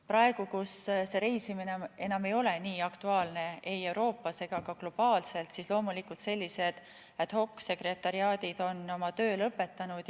Praegu, kus see reisimine enam ei ole nii aktuaalne ei Euroopas ega ka globaalselt, on sellised ad-hoc-sekretariaadid loomulikult oma töö lõpetanud.